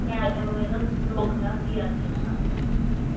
ਮੈਂ ਚਲੋ ਵੇਖ ਲੋ ਦੋ ਹਜਾਰ ਰੁਪਿਆ ਦੇ ਤਾ